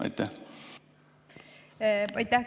Aitäh!